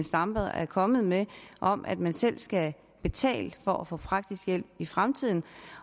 stampe er kommet med om at man selv skal betale for at få praktisk hjælp i fremtiden